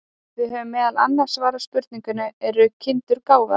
Við höfum meðal annars svarað spurningunni Eru kindur gáfaðar?